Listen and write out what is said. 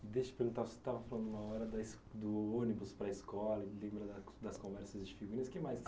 Deixa eu te perguntar, você estava falando uma hora da do ônibus para a escola e lembra das conversas, o que mais?